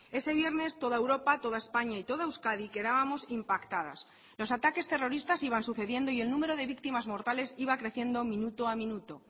ese viernes toda europa toda españa y toda euskadi quedábamos impactadas los ataques terroristas iban sucediendo y el número de víctimas mortales iba creciendo minuto a minuto